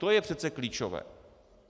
To je přece klíčové.